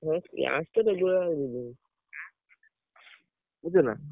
ହଁ class ତ regular ଯିବି ବୁଝୁଛ ନା?